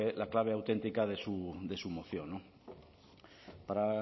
la clave auténtica de su moción para